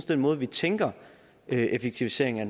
den måde vi tænker effektivisering af